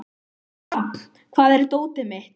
Rafn, hvar er dótið mitt?